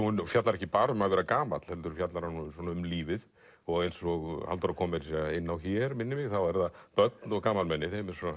hún fjallar ekki bara um að vera gamall heldur fjallar hún um lífið og eins og Halldóra kom inn á þá eru börn og gamalmenni